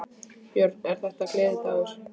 Björn: Er þetta gleðidagur?